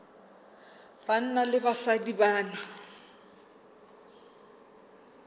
banna le basadi ba na